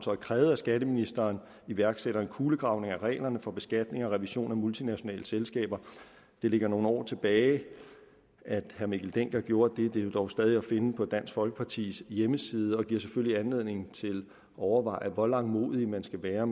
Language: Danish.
krævet at skatteministeren iværksætter en kulegravning af reglerne for beskatning og revision af multinationale selskaber det ligger nogle år tilbage at herre mikkel dencker gjorde det men det er dog stadig at finde på dansk folkepartis hjemmeside og giver selvfølgelig anledning til at overveje hvor langmodig man skal være